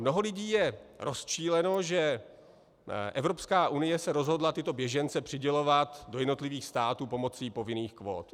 Mnoho lidí je rozčileno, že Evropská unie se rozhodla tyto běžence přidělovat do jednotlivých států pomocí povinných kvót.